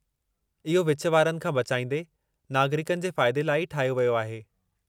इहो विच वारनि खां बचाइंदे, नागरिकनि जे फ़ाइदे लाइ ई ठाहियो वियो आहे।